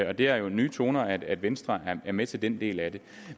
og det er jo nye toner at venstre er med til den del af det